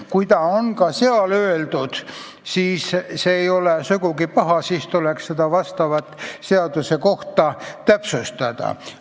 Kui see on ka seal kirjas, siis see ei ole sugugi paha, aga siis tuleb seaduses seda kohta täpsustada.